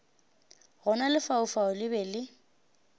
gona lefaufau le be le